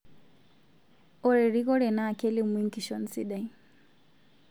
Ore erikoree na kelimu enkishon sidai